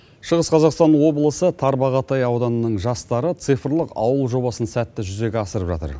шығыс қазақстан облысы тарбағатай ауданының жастары цифрлық ауыл жобасын сәтті жүзеге асырып жатыр